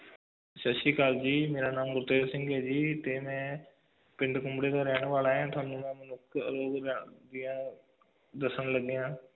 ਸਤਿ ਸ੍ਰੀ ਅਕਾਲ ਜੀ ਮੇਰਾ ਨਾਮ ਗੁਰਤੇਜ ਸਿੰਘ ਹੈ ਜੀ ਹੈ ਤੇ ਮੈਂ ਪਿੰਡ ਗੁੰਬਲੇ ਦਾ ਰਹਿਣ ਵਾਲਾ ਹਾਂ ਥੋਨੂੰ ਓਹਦਾ ਕਯਾ ਦੱਸਣ ਲੱਗੇ ਆ ਦੱਸਣ ਲੱਗੇ ਆ